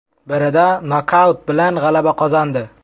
Birida nokaut bilan g‘alaba qozondi.